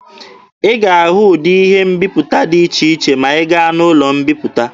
Ị ga-ahụ ụdị ihe mbiputa dị iche iche ma ị gaa n'ụlọ mbiputa.